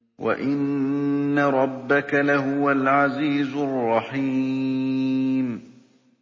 وَإِنَّ رَبَّكَ لَهُوَ الْعَزِيزُ الرَّحِيمُ